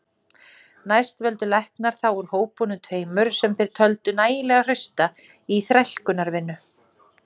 Næst völdu læknar þá úr hópunum tveimur sem þeir töldu nægilega hrausta í þrælkunarvinnu.